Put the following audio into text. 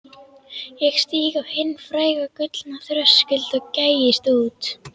Ég stíg á hinn fræga gullna þröskuld og gægist út.